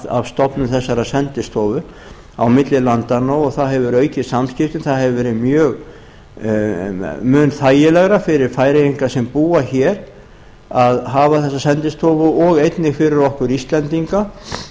af stofnun þessarar sendistofu á milli landanna og það hefur aukið samskiptin það hefur verið mun þægilegra fyrir færeyinga sem búa hér að hafa þessa sendistofu og einnig fyrir okkur íslendinga